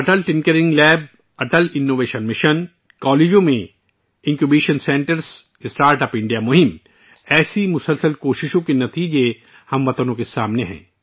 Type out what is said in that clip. Atal tinkering lab, Atal innovation mission, کالجوں میں incubation centre, start up India مہم ، اسی طرح کی انتھک کوششوں کے نتائج ہم وطنوں کے سامنے ہیں